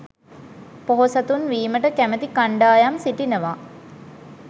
පොහොසතුන් වීමට කැමති කණ්ඩායම් සිටිනවා